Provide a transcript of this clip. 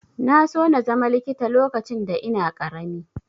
Na so na zama likita lokacin da ina ƙarami.